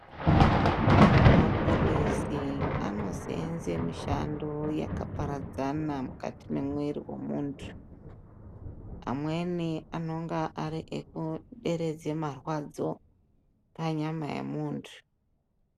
Maphilizi anoseenze mishando yakaparadzana mukati memwiri wemuntu, amweni anonga ariferedza marwadzo panyama yemuntu.